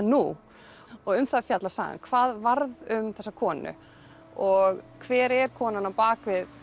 nú um það fjallar sagan hvað varð um þessa konu og hver er konan á bak við